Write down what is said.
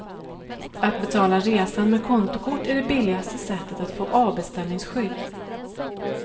Att betala resan med kontokort är det billigaste sättet att få avbeställningsskydd.